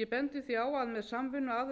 ég bendi því á að með samvinnu aðila